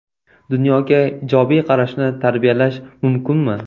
Dunyoga ijobiy qarashni tarbiyalash mumkinmi?